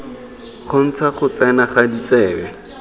kgontsha go tsena ga ditsebe